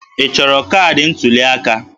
Ị chọrọ kaadị ntuli aka?